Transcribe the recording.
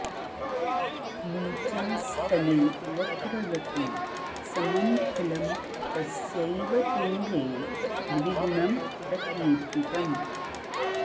नीचास्तगे वक्रगते समं फलं तस्यैव तुङ्गे द्विगुणं प्रकीर्तितम्